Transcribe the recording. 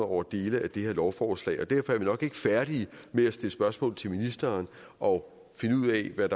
over dele af det her lovforslag derfor er vi nok ikke færdige med at stille spørgsmål til ministeren og finde ud af hvad